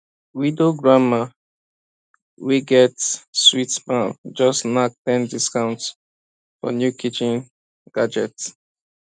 widow granma wey get sweet smile just knack ten discount for new kitchen gadgets